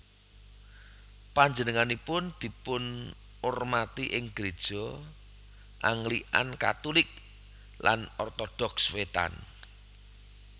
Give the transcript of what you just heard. Panjenenganipun dipunurmati ing gréja Anglikan Katulik lan Ortodoks Wétan